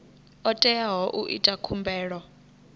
o teaho u ita khumbelo